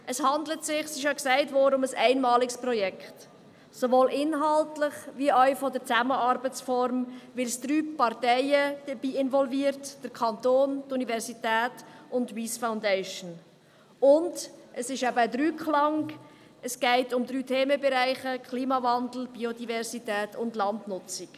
Es handelt sich – es ist bereits erwähnt worden – um ein einmaliges Projekt, sowohl inhaltlich als auch in Bezug auf die Zusammenarbeitsform, weil es drei Parteien involviert – den Kanton, die Universität und die Wyss Foundation – und es einen Dreiklang beinhaltet mit den drei Themenbereichen Klimawandel, Biodiversität und Landnutzung.